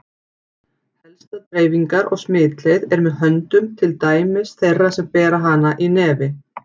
Helsta dreifingar- og smitleið er með höndum til dæmis þeirra sem bera hana í nefi.